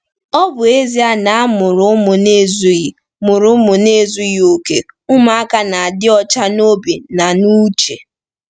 Ọ bụ ezie na a mụrụ ụmụ n’ezughị mụrụ ụmụ n’ezughị okè, ụmụaka na-adị ọcha n’obi na n’uche.